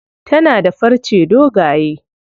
Tana da farce dogaye.